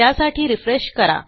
त्यासाठी रिफ्रेश करा